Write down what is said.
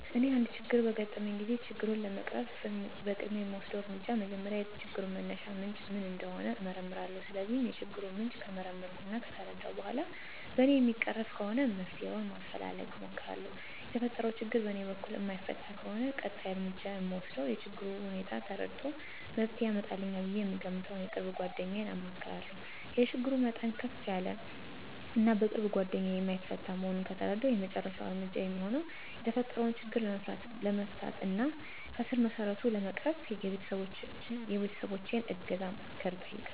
እኔ አንድ ችግር በሚያጋጥመኝ ጊዜ ችግሩን ለመቅረፍ በቅድሚያ የምወስደው እርምጃ መጀመሪያ የችግሩን መነሻ ምንጭ ምን እንደሆነ እመረምራለሁ። ስለዚህ የችግሩን ምንጭ ከመረመርሁ እና ከተረዳሁ በኋላ በእኔ የሚቀረፍ ከሆነ መፍትሄ ማፈላለግ እሞክራለሁ። የተፈጠረው ችግር በእኔ በኩል የማይፈታ ከሆነ ቀጣይ እርምጃ የምወስደው የችግሩን ሁኔታ ተረድቶ መፍትሄ ያመጣልኛል ብዬ የምገምተውን የቅርብ ጓደኛዬን አማክራለሁ። የችግሩ መጠን ከፍ ያለ እና በቅርብ ጓደኛዬ የማይፈታ መሆኑን ከተረዳሁ የመጨረሻው እርምጃ የሚሆነው የተፈጠረው ችግር ለመፍታት እና ከስረመሰረቱ ለመቅረፍ የቤተሰቦቸን እገዛና ምክር እጠይቃለሁ።